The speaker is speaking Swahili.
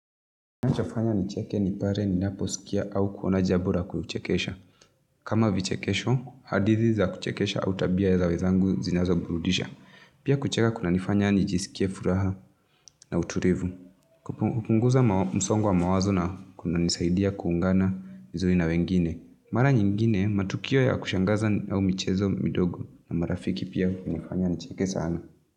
Kinachofanya nicheke ni pale ninaposikia au kuona jambo la kuchekesha. Kama vichekesho, hadithi za kuchekesha au tabia za wenzangu zinazo burudisha. Pia kucheka kunanifanya nijisikie furaha na utulivu. Kupunguza msongo wa mawazo na kunanisaidia kuungana vizuri na wengine. Mara nyingine, matukio ya kushangaza au michezo midogo na marafiki, pia kunanifanya nicheke sana.